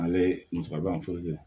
Ale musaka fosi